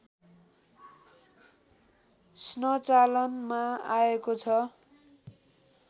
स्नचालनमा आएको छ